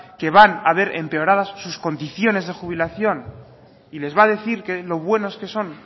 que van a ver empeoradas sus condiciones de jubilación y les va a decir lo buenos que son